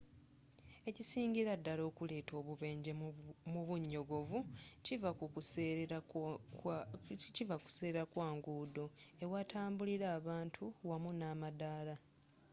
ekisingira ddala okuleetawo obubenje mu bunyogovu kiva ku kuserera kwa nguudo, ewatambulirwa abantu wamu namadaala